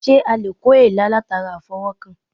Sé a lè kó èélá latara àfọwó̩kàn?